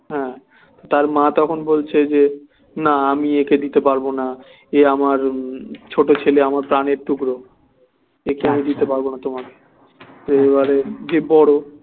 হ্যাঁ তার মা তখন বলছে যে না আমি একে দিতে পারবো না এ আমার উম ছোট ছেলে আমার প্রাণের টুকরো একে আমি দিতে পারবো না তোমাকে এবারে যে বড়